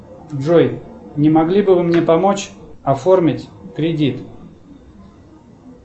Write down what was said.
джой не могли бы вы мне помочь оформить кредит